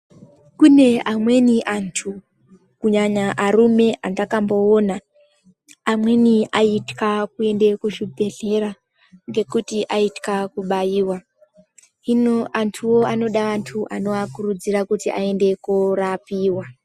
Kune amweni anthu kunyanya arume andakamboona amweni aitya kuenda kuzvibhedhlera ngekuti aitya kubaiwa. Hino anthuwo anoda anthu anoakurudzira kuti aende kunorapiwa.